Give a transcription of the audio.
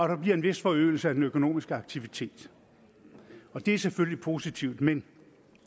der bliver en vis forøgelse af den økonomiske aktivitet og det er selvfølgelig positivt men